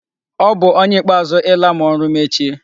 Ọ bu ónyé ikpeazụ ịla ma ọrụ mechie.